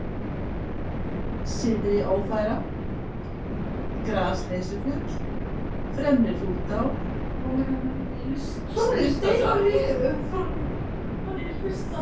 Syðriófæra, Grasleysufjöll, Fremri-Hrútá, Stuttadrag